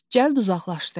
Cəld uzaqlaşdı.